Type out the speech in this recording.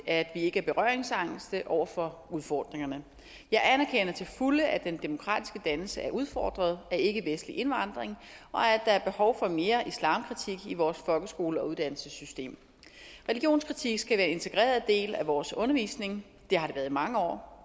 at vi ikke er berøringsangste over for udfordringerne jeg anerkender til fulde at den demokratiske dannelse er udfordret af ikkevestlig indvandring og at der er behov for mere islamkritik i vores folkeskole og uddannelsessystem religionskritik skal være en integreret del af vores undervisning det har det været i mange år og